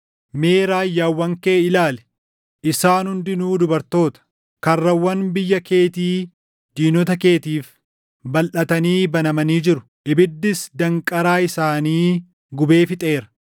Mee raayyaawwan kee ilaali; isaan hundinuu dubartoota! Karrawwan biyya keetii diinota keetiif balʼatanii banamanii jiru; ibiddis danqaraa isaanii gubee fixeera.